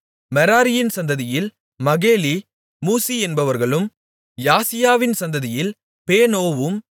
மெராரியின் சந்ததியில் Mahli Mushi என்பவர்களும் யாசியாவின் சந்ததியில் பேனோவும்